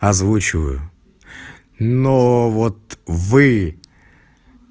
озвучиваю но вот вы